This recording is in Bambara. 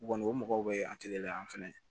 Kɔni o mɔgɔw bɛ an teleyan an fɛnɛ